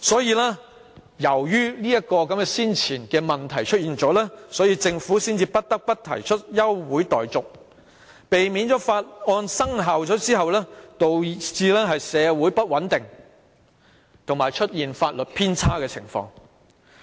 基於這前提，政府才不得不提出休會待續議案，以避免法案生效而導致社會出現不穩及法例偏差的情況。